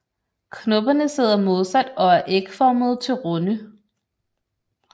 Knopperne sidder modsat og er ægformede til runde